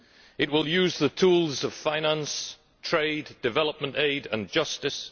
It will use the tools of finance, trade, development aid and justice.